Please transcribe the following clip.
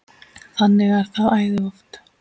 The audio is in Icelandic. Þannig er það æði oft.